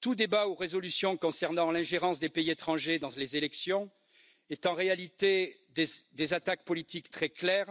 Tout débat ou résolution concernant l'ingérence des pays étrangers dans les élections représente en réalité des attaques politiques très claires